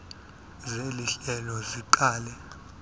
seli hlelo siqale